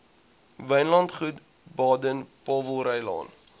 wynlandgoed baden powellrylaan